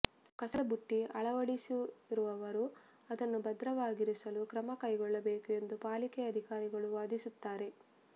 ಕಸದ ಬುಟ್ಟಿ ಅಳವಡಿಸಿರುವವರು ಅದನ್ನು ಭದ್ರವಾಗಿರಿಸಲು ಕ್ರಮ ಕೈಗೊಳ್ಳಬೇಕು ಎಂದು ಪಾಲಿಕೆ ಅಧಿಕಾರಿಗಳು ವಾದಿಸುತ್ತಾರೆ